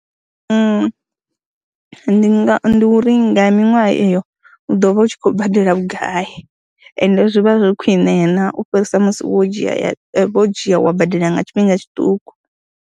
Ndi nga ndi uri nga miṅwaha eyo u ḓo vha u tshi khou badela vhugai ende zwi vha zwi khwine na u fhirisa musi wo dzhia wo dzhia wa badela nga tshifhinga tshiṱuku.